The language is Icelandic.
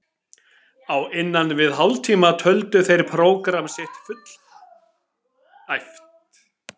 Á innan við hálftíma töldu þeir prógramm sitt fullæft.